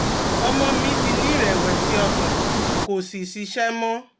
Ọmọ mi ti ní ìrẹ̀wẹ̀sì ọkàn, kò sì ṣiṣẹ́ mọ́